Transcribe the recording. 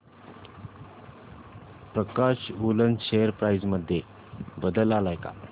प्रकाश woollen share price मध्ये बदल आलाय का